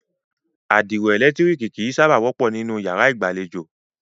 Àdìro ẹ̀lẹ̀tírìkì kìí sábà wọ́pọ̀ nínú yàrá ìgbàlejò.